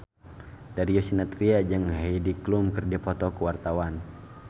Darius Sinathrya jeung Heidi Klum keur dipoto ku wartawan